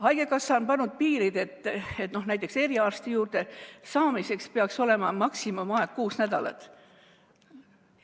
Haigekassa on pannud piirid, et näiteks eriarsti juurde saamiseks peaks olema maksimumaeg kuus nädalat.